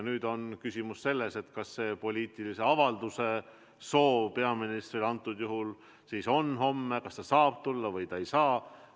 Nüüd on küsimus selles, kas peaministril on poliitilise avalduse tegemise soovi ja kas ta homme saab tulla või ei saa.